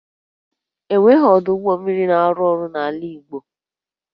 E nweghị ọdụ ụgbọ mmiri na-arụ ọrụ n'ala Igbo